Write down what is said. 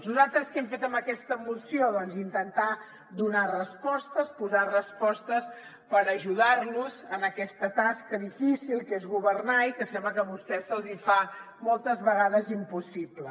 nosaltres què hem fet amb aquesta moció doncs intentar donar respostes posar respostes per ajudar los en aquesta tasca difícil que és governar i que sembla que a vostès se’ls hi fa moltes vegades impossible